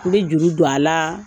N bi juru don a la